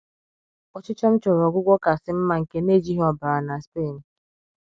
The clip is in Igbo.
Ọchịchọ m chọrọ ọgwụgwọ kasị mma nke n’ejighị ọbara na Spain